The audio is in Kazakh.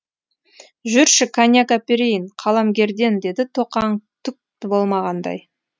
жүрші коньяк әперейін қаламгерден деді тоқаң түк болмағандай